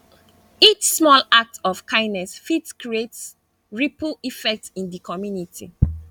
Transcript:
each small act of kindness fit create ripple effect in di community